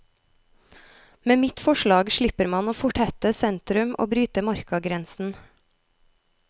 Med mitt forslag slipper man å fortette sentrum og bryte markagrensen.